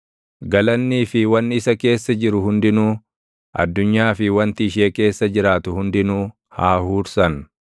Galaannii fi wanni isa keessa jiru hundinuu, addunyaa fi wanti ishee keessa jiraatu hundinuu haa huursan.